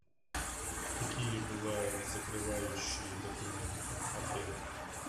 какие бывают закрывающие документы отеля